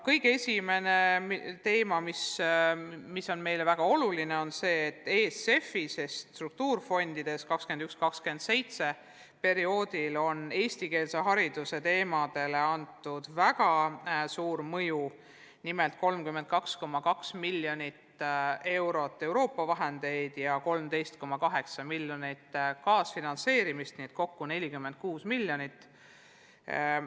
Kõige esimene teema, mis on meile väga oluline, on see, et EFSF-is ehk struktuurifondides on perioodil 2021–2027 plaanitud eestikeelse hariduse teemadele väga suur osa: nimelt 32,2 miljonit eurot Euroopa vahendeid ja 13,8 miljonit kaasfinantseerimist, kokku 46 miljonit eurot.